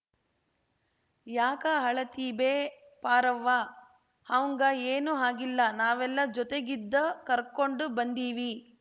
ಯಾಕ ಅಳತಿಬೆ ಪಾರವ್ವ ಅಂವ್ಗ ಏನು ಆಗಿಲ್ಲ ನಾವೆಲ್ಲ ಜೊತಿಗಿದ್ದ ಕರ್ಕೊಂಡು ಬಂದಿವಿ